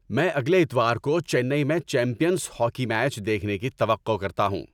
میں اگلے اتوار کو چنئی میں چیمپئنز ہاکی میچ دیکھنے کی توقع کرتا ہوں۔